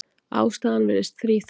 Ástæðan virðist þríþætt.